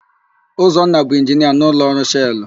Ụzọnna bụ Inginia n'ụlọọrụ Shelụ.